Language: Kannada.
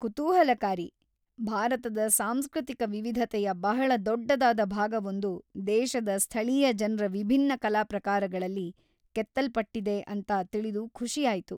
ಕುತೂಹಲಕಾರಿ! ಭಾರತದ ಸಾಂಸೃತಿಕ ವಿವಿಧತೆಯ ಬಹಳ ದೊಡ್ಡದಾದ ಭಾಗವೊಂದು ದೇಶದ ಸ್ಥಳೀಯ ಜನ್ರ ವಿಭಿನ್ನ ಕಲಾ ಪ್ರಕಾರಗಳಲೀ ಕೆತ್ತಲ್ಪಟ್ಟಿದೆ ಅಂತ ತಿಳಿದು ಖುಷಿಯಾಯ್ತು.